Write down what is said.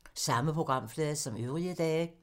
Samme programflade som øvrige dage